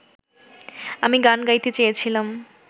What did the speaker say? আমি গান গাইতে চেয়েছিলাম